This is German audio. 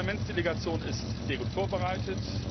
ist. Die Parlamentsdelegation ist sehr gut vorbereitet.